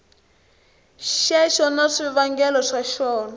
xexo na swivangelo swa xona